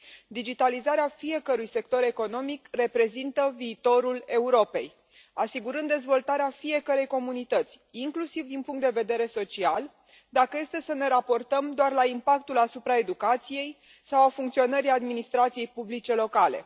Digitalizarea fiecărui sector economic reprezintă viitorul Europei, asigurând dezvoltarea fiecărei comunități, inclusiv din punct de vedere social, dacă este să ne raportăm doar la impactul asupra educației sau al funcționării administrației publice locale.